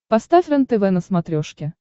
поставь рентв на смотрешке